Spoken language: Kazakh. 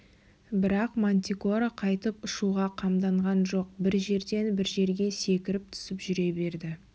бірақ мантикора қайтып ұшуға қамданған жоқ бір жерден бір жерге секіріп түсіп жүре берді